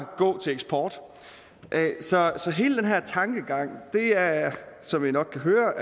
gå til eksport så så hele den her tankegang er som i nok kan høre